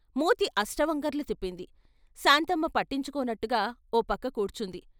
మూతి అష్ట వంకర్లు తిప్పింది, శాంతమ్మ పట్టించుకోనట్టుగా ఓ పక్క కూర్చుంది.